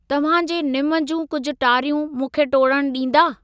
तव्हांजे निमु जूं कुझु टारियूं मूंखे टोड़णु ॾींदा?